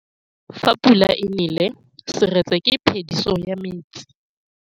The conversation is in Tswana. Fa pula e nelê serêtsê ke phêdisô ya metsi.